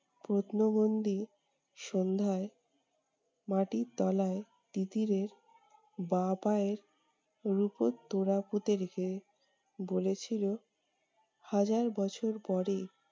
প্রত্নবন্দী সন্ধ্যায় মাটির তলায় তিতিরের বাঁ পায়ের রূপোর তোড়া পুঁতে রেখে বলেছিলো, হাজার বছর পরে